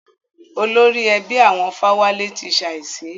Olórí ẹbí àwọn Fáwálé ti ṣàísí.